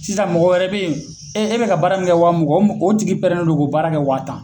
Sisan mɔgɔ wɛrɛ be yen e bɛ ka ka baara min kɛ wa muga o tigi don k'o baara kɛ waa tan.